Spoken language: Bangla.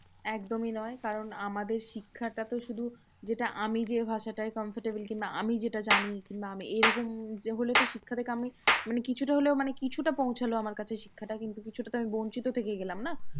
একদমই নয় কারণ আমাদের শিক্ষাটা তো শুধু যেটা আমি যে ভাষাটায় comfortable কিংবা আমি যেটা জানি কিংবা আমি এইরকম যে হলেতো শিক্ষাটাকে আমি মানে কিছুটা হলেও মানে কিছুটা পৌঁছলো আমার কাছে শিক্ষাটা। কিন্তু কিছুটা তো আমি বঞ্চিত থেকে গেলাম না?